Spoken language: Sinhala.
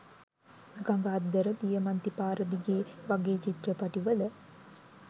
ගඟ අද්දර දියමන්ති පාර දිගේ වගේ චිත්‍රපටිවල